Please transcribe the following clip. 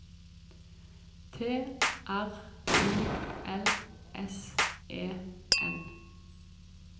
T R U L S E N